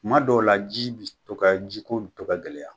Kuma dɔw la ji be to ka ji ko be to ka gɛlɛya.